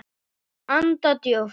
Anda djúpt.